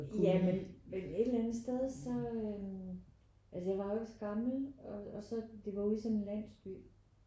Ja men men et eller andet sted så øh altså jeg var jo ikke så gammel og så det var jo ude i sådan en landsby